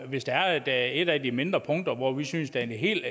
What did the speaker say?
hvis der er et af de mindre punkter hvor vi synes det er helt